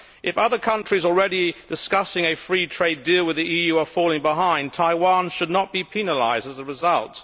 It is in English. If other countries already discussing a free trade deal with the EU are falling behind, Taiwan should not be penalised as a result.